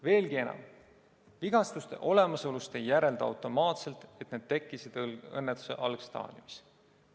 Veelgi enam, vigastuste olemasolust ei järeldu automaatselt, et need tekkisid õnnetuse algstaadiumis.